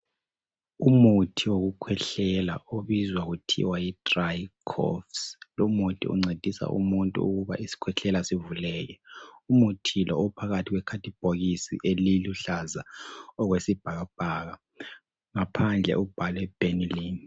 Umuthi wokukhwehlela obizwa kuthiwa yi(Dry Coughs)lumuthi uncedisa umuntu ukuba isikhwehlela sivuleke umuthi lo uphakathi kwekhadibhokisi eliluhlaza okwesibhakabhaka ngaphandle ubhalwe (Benylin).